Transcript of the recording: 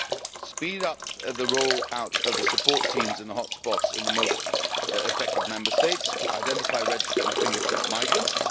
We speeded up the roll out of support teams in the hotspots in the most affected Member States, to identify, register and fingerprint migrants.